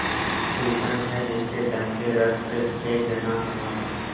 गुल्शन है जिनके दम से रश्कएजनाँ हमारा